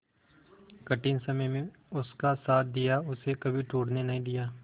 कठिन समय में उसका साथ दिया उसे कभी टूटने नहीं दिया